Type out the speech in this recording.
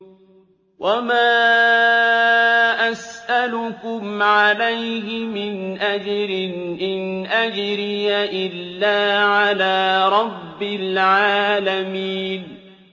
وَمَا أَسْأَلُكُمْ عَلَيْهِ مِنْ أَجْرٍ ۖ إِنْ أَجْرِيَ إِلَّا عَلَىٰ رَبِّ الْعَالَمِينَ